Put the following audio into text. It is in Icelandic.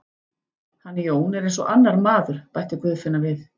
Hann Jón er eins og annar maður, bætti Guðfinna við.